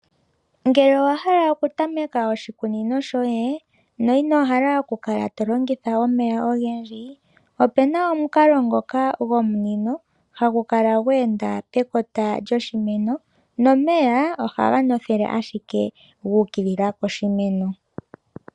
Ngele owa hala okutameka oshikunino shoye no ino hala okukala to longitha omeya ogendji, opu na omukalo ngoka gomunino hagu kala gwe enda pekota lyoshimeno nomeya ohaga ndotha ashike gu ukilila poshimeno.